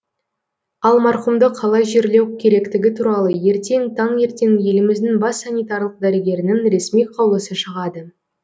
ал марқұмды қалай жерлеу керектігі туралы ертең таңертең еліміздің бас санитарлық дәрігерінің ресми қаулысы шығады